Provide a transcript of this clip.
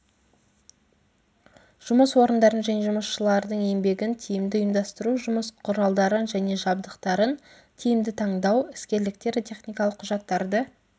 жұмыс орындарын және жұмысшылардың еңбегін тиімді ұйымдастыру жұмыс құралдарын және жабдықтарын тиімді таңдау іскерліктер техникалық құжаттарды